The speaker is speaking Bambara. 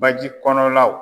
Baji kɔnɔ law